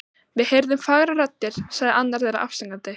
Við heyrðum fagrar raddir sagði annar þeirra afsakandi.